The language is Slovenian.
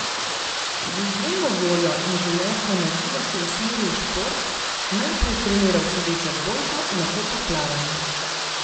Z izjemno voljo in življenjsko energijo se je usmeril v šport, najprej treniral sedečo odbojko, nato pa plavanje.